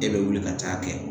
E be wuli ka taa kɛ.